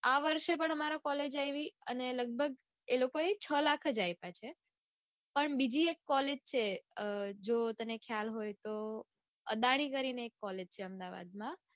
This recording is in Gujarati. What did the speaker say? આ વર્ષે પણ અમારે કોલેજ આઈવી અને લઘભગ એ લોકોએ છ લાખ જ આઈપા છે åપણ બીજી એક કોલેજ છે અઅઅ જો તને ખ્યાલ હોય તો અદાણી કરીને એક કોલેજ છે અમદાવાદમાં.